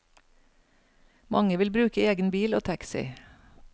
Mange vil bruke egen bil og taxi.